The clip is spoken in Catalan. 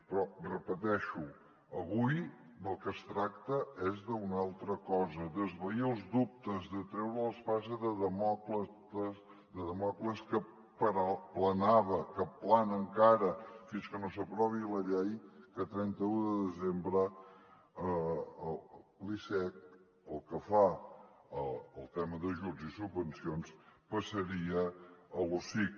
però repeteixo avui del que es tracta és d’una altra cosa d’esvair els dubtes de treure l’espasa de dàmocles que planava que plana encara fins que no s’aprovi la llei que a trenta un de desembre l’icec pel que fa al tema d’ajuts i subvencions passaria a l’osic